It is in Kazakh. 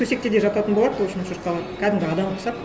төсекте де жататын болады ол үшін шошқалар кәдімгі адамға ұқсап